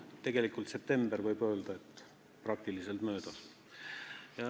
Tegelikult september, võib öelda, on sama hästi kui möödas.